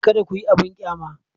Kada ku yi abin ƙyama.